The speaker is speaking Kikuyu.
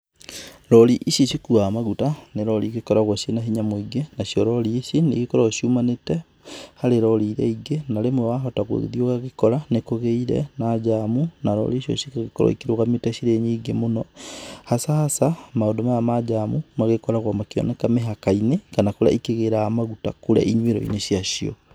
Rorĩ ĩcĩ cĩkũaga magũta, nĩ rorĩ ĩngĩkoragwo cĩna hĩnya mũingĩ, na cĩo rorĩ ĩcĩ ĩkoragwo cĩumanĩte harĩ rorĩ ĩrĩa ĩngĩ, na rĩmwe wahota gũgĩthĩĩ ũgagĩkora nĩkũgĩĩre na jamũ ,na rorĩ ĩcĩo ĩgakorwo ĩrũgamĩte cĩre nyĩngĩ mũno hasa hasa, maũndũ maya ma jamũ magĩkoragwo makĩoneka mĩhaka-ĩnĩ, kana kũrĩa ĩkĩgĩraga magũta ĩnyũĩro-ĩnĩ cĩacĩo.